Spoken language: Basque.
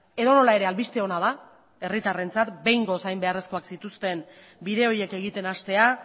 edonola ere albiste ona da herritarrentzat behingoz hain beharrezkoak zituzten bide horiek egiten hastea